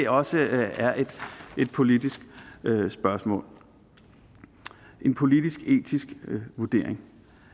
også er et politisk spørgsmål en politisk etisk vurdering